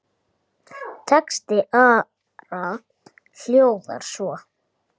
Texti Ara hljóðar svo